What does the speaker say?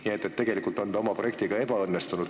Nii et tegelikult on nad oma projektiga ebaõnnestunud.